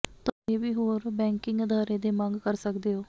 ਤੁਹਾਨੂੰ ਇਹ ਵੀ ਹੋਰ ਬੈਕਿੰਗ ਅਦਾਰੇ ਦੇ ਮੰਗ ਕਰ ਸਕਦੇ ਹੋ